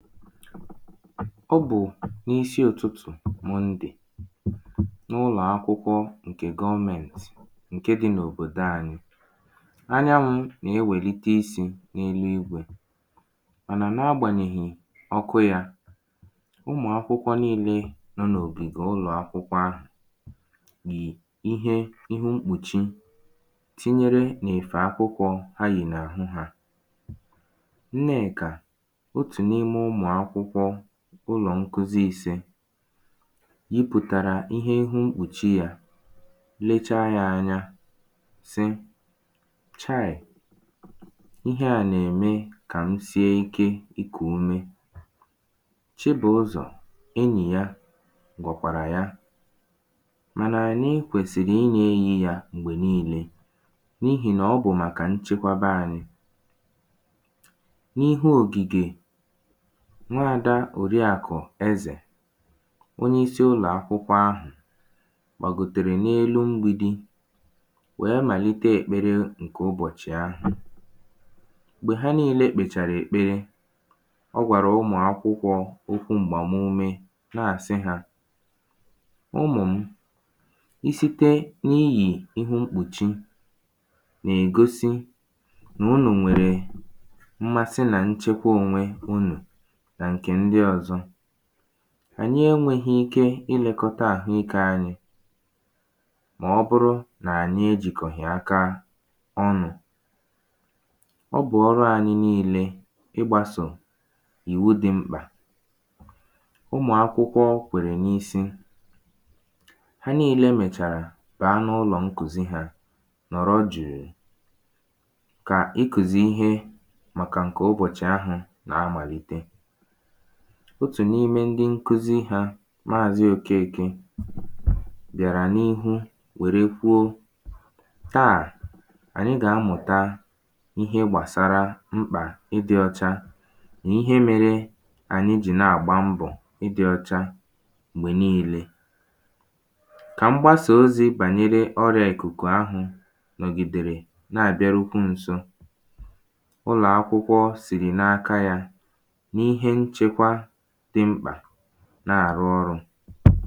Ọ bụ̀ n’isi ụtụtụ̀ Mọndè N’ụlọ̀ akwụkwọ ṅ̀kè gọọmēǹtị̀ ṅ̀ke dị̄ nòbòdo ānyị̄. Anyanwụ̄ nà-ewèlite isī n’eluigwē Mànà na-agbànyèhì ọkụ yā ụmụ̀ akwụkwọ niīlē nọ n’ògìgè ụlọ̀ akwụkwọ ahụ̀ yì ihe ihu mkpùchi tinyere n’èfè akwụkwọ̄ ha yì n’àhụ hā Nneèkà, otù n’ime ụmụ̀ akwụkwọ ụlọ̀ ṅkuzi īsē yipùtàrà ihe ihu mkpùchi yā lechaa yā ānyā sị “chaị̀, ihe à nà-ème kà m sie ike ikù ume”. Chibụ̀ụzọ̀ enyì ya, gwàkwàrà ya Mànà ànyi kwèsìrì ịnā-eyī yā m̀gbè niīīlē N’ihì nà ọ bụ̀ màkà nchebaba anyị.. N’ihu ògìgè. Nwadā Òriàkụ̀ Ezè Onyeisi ụlọ̀akwụkwọ ahụ̀ Gbàgòtèrè n’elu mgbīdī Wèe màlite ekpere ṅkè ụbọ̀chị ahụ̀ Gbè ha nīīlē kpèchàrà èkpere ọ gwàrà ụmụ̀ akwụkwọ̄ okwu m̀gbàm̀ume na-àsị hā ụmụ̀ mụ i site n’iyì ihu mkpùchi nà-ègosi nà unù nwèrè mmasị nà nchekwa onwē unù nà ṅ̀kè ndiị ọzọ. Ànyị enwēhī ike ilēḳọta àhụikē ānyị̄ Mà ọ bụrụ nà ànyị ejìkọ̀hì aka ọnụ̄ Ọ bụ̀ ọrụ ānyị̄ niīlē ịgbāsò ìwu dị̄ mkpà ụmụ̀ akwụkwọ kwèrè n’isi ha niīlē mèchàrà bàa n’ụlọ̀ ṅkuzi hā nọ̀rọ jụ̀ụ̀ kà ị kụ̀zị̀ ihe màkà ṅ̀ke ụbọchị ahụ̄ nà-amàlite. otù n’ime ndị ṅkuzi hā Maàzị Okeēkē bịàrà n’ihu wère kwuo “Taà, ànyị gà-amụ̀ta ihe gbàsara mkpà ịdị̄ ọcha nà ihe mērē ànyị jì na-àgba mbọ̣̀ ịdị̄ ọ̄chā m̀gbè niīlē kà mgbasà ozī bànyere ọrịa ịkùkù ahụ̄ nọgìdèrè, na-àbịarukwu nso ụlò akwụkwọ sìrì n’aka yā n’ihe nchekwa dị̄ mkpà na-àrụ ọrụ̄